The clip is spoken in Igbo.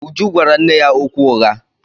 Uju gwara nne ya okwu ụgha.